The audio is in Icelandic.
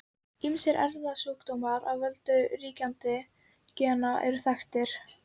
Ýmsir erfðasjúkdómar af völdum ríkjandi gena eru líka þekktir.